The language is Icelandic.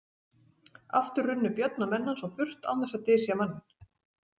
Aftur runnu Björn og menn hans á burt án þess að dysja manninn.